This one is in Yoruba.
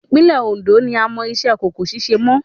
Ìpínlẹ̀ Òndó ni a mọ iṣẹ́ kòkó ṣíṣe mọ́